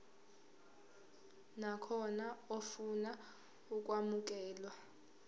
nakhona ofuna ukwamukelwa